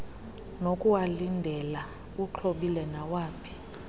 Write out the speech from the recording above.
nokuwalindela uxhobile nawaphi